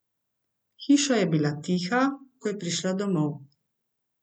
Hiša je bila tiha, ko je prišla domov.